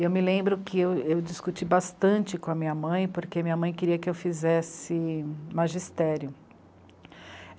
E eu me lembro que eu discuti bastante com a minha mãe, porque minha mãe queria que eu fizesse magistério.